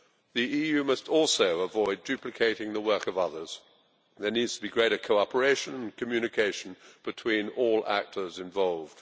The EU must also avoid duplicating the work of others. There needs to be greater cooperation and communication between all those involved.